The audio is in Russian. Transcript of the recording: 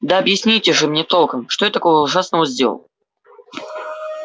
да объясните же мне толком что я такого ужасного сделал